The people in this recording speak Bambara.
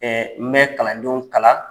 n bɛ kalandenw kalan.